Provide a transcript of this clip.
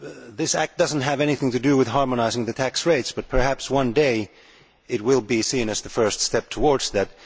This act does not have anything to do with harmonising the tax rates but perhaps one day it will be seen as the first step towards that.